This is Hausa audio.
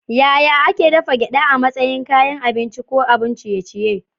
Yaya ake dafa gyada a matsayin kayan abinci ko abun ciye-ciye?